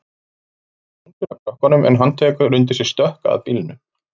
Svo snýr hún sér að krökkunum en hann tekur undir sig stökk að bílnum.